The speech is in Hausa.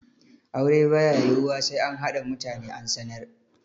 Aure ba ya yiwuwa sai an haɗa mutane an sanar.